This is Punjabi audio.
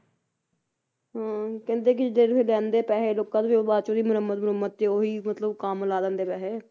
ਹੁੰ ਕਹਿੰਦੇ ਕੇ ਜੇ ਤੁਸੀ ਲੈਂਦੇ ਪੈਹੇ ਲੋਕਾਂ ਤੋਂ ਬਾਅਦ ਚ ਉਹਦੀ ਮੁਰਮੰਤ ਮਰੁਮੰਤ ਤੇ ਉਹੀ ਮਤਲਬ ਕੰਮ ਲਾ ਦਿੰਦੇ ਪੈਹੇ